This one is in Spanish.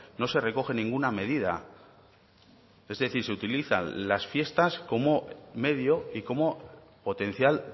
no se recoge ninguna medida es decir se utilizan las fiestas como medio y como potencial